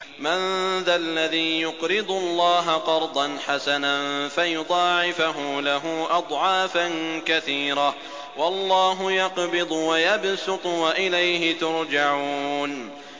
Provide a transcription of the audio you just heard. مَّن ذَا الَّذِي يُقْرِضُ اللَّهَ قَرْضًا حَسَنًا فَيُضَاعِفَهُ لَهُ أَضْعَافًا كَثِيرَةً ۚ وَاللَّهُ يَقْبِضُ وَيَبْسُطُ وَإِلَيْهِ تُرْجَعُونَ